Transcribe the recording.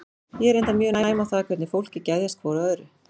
Ég er reyndar mjög næm á það hvernig fólki geðjast hvoru að öðru.